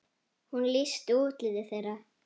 Hún lýsti útliti þeirra.